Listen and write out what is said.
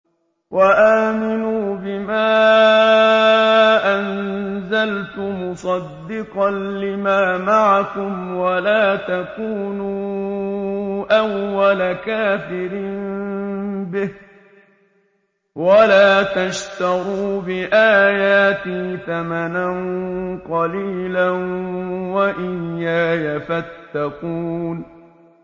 وَآمِنُوا بِمَا أَنزَلْتُ مُصَدِّقًا لِّمَا مَعَكُمْ وَلَا تَكُونُوا أَوَّلَ كَافِرٍ بِهِ ۖ وَلَا تَشْتَرُوا بِآيَاتِي ثَمَنًا قَلِيلًا وَإِيَّايَ فَاتَّقُونِ